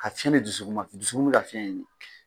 A fiɲɛ bɛ dusuku ma dusukun bɛ ka fiɲɛ ɲini